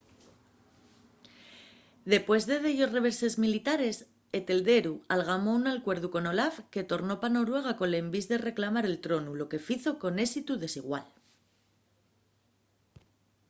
dempués de dellos reveses militares etelredu algamó un acuerdu con olaf que tornó pa noruega col envís de reclamar el tronu lo que fizo con ésitu desigual